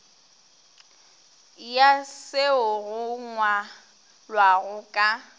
ya seo go ngwalwago ka